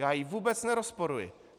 Já ji vůbec nerozporuji.